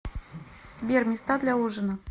сбер места для ужина